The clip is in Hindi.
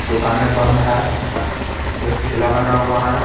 दुकानें बंद है एक ठेला लगा हुआ है.